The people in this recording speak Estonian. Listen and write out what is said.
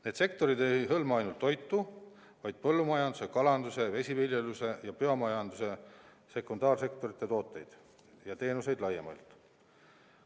Need sektorid ei hõlma ainult toitu, vaid ka põllumajanduse, kalanduse ja vesiviljeluse ja biomajanduse sekundaarsektorite tooteid ja teenuseid laiemalt.